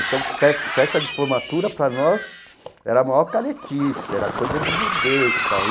Então, fes festa de formatura, para nós, era a maior caretice, era coisa de burguês e tal.